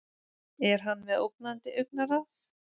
Er hann með ógnandi augnaráð?